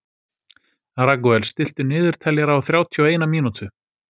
Ragúel, stilltu niðurteljara á þrjátíu og eina mínútur.